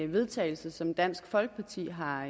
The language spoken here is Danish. vedtagelse som dansk folkeparti har